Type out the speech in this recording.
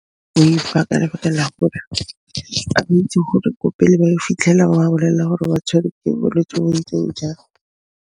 Ka lebaka la gore ga ba itse gore ko pele ba yo fitlhela ba ba bolelela gore ba tshwerwe ke bolwetsi bo bo ntseng jang.